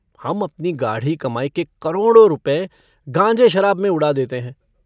हम अपनी गाढ़ी कमाई के करोड़ों रुपये गाँजे-शराब में उड़ा देते हैं।